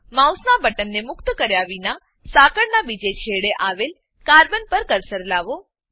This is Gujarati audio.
માઉસનાં બટનને મુક્ત કર્યા વિના સાંકળનાં બીજા છેડે આવેલ કાર્બન કાર્બન પર કર્સર લાવો